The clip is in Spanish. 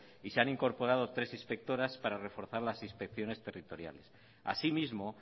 y se han incorporado tres inspectoras para reforzar las inspecciones territoriales así mismo